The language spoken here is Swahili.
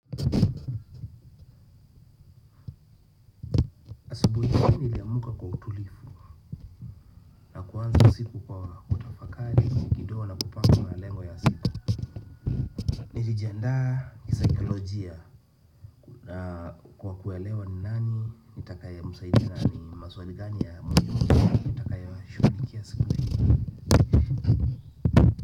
Asubuhi hii niliamka kwa utulivu na kuanza siku kwa kutafakari kidogo na kupanga malengo ya siku. Nilijiandaa kisikalojia. Kwa kuelewa nani nitakaemsaidia na ni maswali gani ya muhimu nitakayoyashugulikia siku hii.